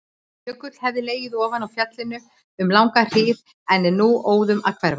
Jökull hefur legið ofan á fjallinu um langa hríð en er nú óðum að hverfa.